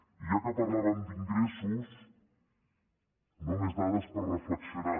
i ja que parlàvem d’ingressos només dades per reflexionar